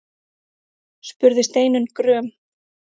spurði Steinunn gröm.